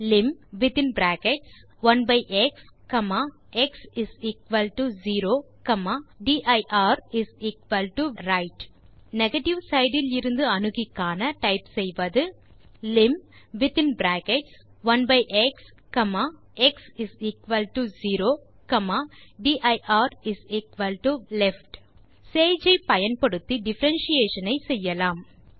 Lim of within brackets 1எக்ஸ் எக்ஸ்0 dirரைட் நெகேட்டிவ் சைட் இலிருந்து அணுகி காண typeசெய்வது லிம் வித்தின் பிராக்கெட்ஸ் 1xx0dirலெஃப்ட் சேஜ் ஐ பயன்படுத்தி டிஃபரன்ஷியேஷன் ஐ செய்யலாம்